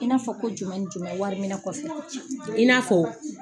I n'a fɔ ko jumɛn jumɛn wari min kɔfɛ.